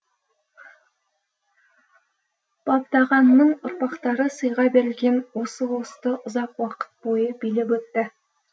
бабдағанның ұрпақтары сыйға берілген осы ұлысты ұзақ уақыт бойы билеп өтті